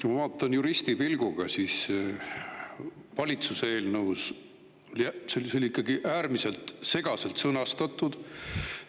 Kui ma vaatan juristipilguga, siis valitsuse eelnõu on ikkagi äärmiselt segaselt sõnastatud.